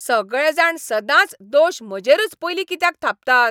सगळे जाण सदांच दोश म्हजेरूच पयलीं कित्याक थापतात?